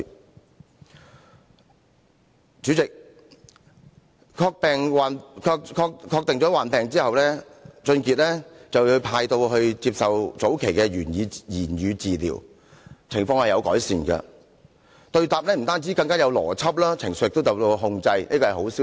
代理主席，確定患病之後，王俊傑被安排接受早期的言語治療，情況確有改善，對答不但更有邏輯，情緒亦受到控制，這是一個好消息。